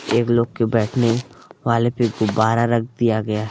एक लोग के बैठने वाले पे गुब्बारा रख दिया गया है।